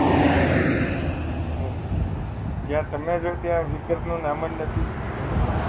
હા મેમ હવ જ્યાં તમે રહો ત્યાં ફિકર નું નામ જ નથી